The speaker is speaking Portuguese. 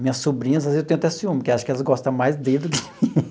Minhas sobrinhas, às vezes, eu tenho até ciúmes, porque acho que elas gosta mais dele do que eu.